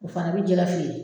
O fana bi jɛ ka feere